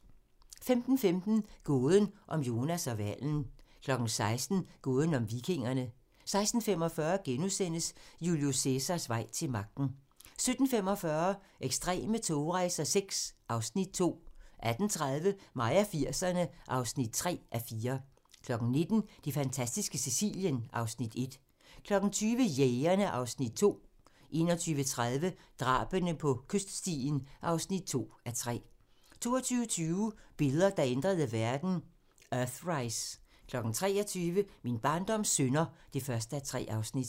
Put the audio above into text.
15:15: Gåden om Jonas og hvalen 16:00: Gåden om vikingerne 16:45: Julius Cæsars vej til magten * 17:45: Ekstreme togrejser VI (Afs. 2) 18:30: Mig og 80'erne (3:4) 19:00: Det fantastiske Sicilien (Afs. 1) 20:00: Jægerne (Afs. 2) 21:30: Drabene på kyststien (2:3) 22:20: Billeder, der ændrede verden: Earthrise 23:00: Min barndoms synder (1:3)